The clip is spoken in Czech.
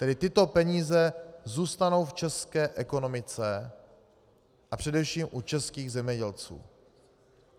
Tedy tyto peníze zůstanou v české ekonomice a především u českých zemědělců.